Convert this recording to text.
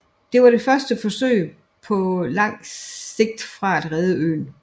Det var det første forsøg på langt sigt at redde øen